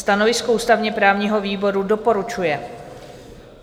Stanovisko ústavně-právního výboru: doporučuje.